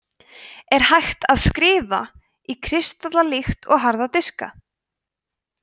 er hægt að „skrifa“ á kristalla líkt og harða diska